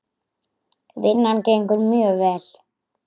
Vinnan gengur mjög vel.